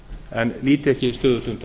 en líti ekki stöðugt undan